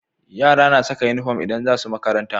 Yara na Saka inufom idan zasu makaranta